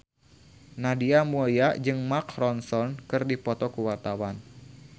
Nadia Mulya jeung Mark Ronson keur dipoto ku wartawan